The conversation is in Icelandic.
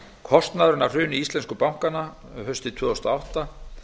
kostnaðurinn af hruni íslensku bankanna haustið tvö þúsund og átta